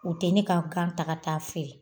U tɛ ne ka taga taa fɛ